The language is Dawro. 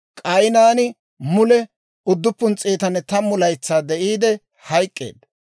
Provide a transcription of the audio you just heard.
K'aynaani mule 910 laytsaa de'iide hayk'k'eedda.